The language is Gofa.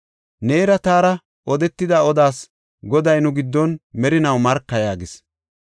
Neera taara odetida odaas Goday nu giddon merinaw marka” yaagis.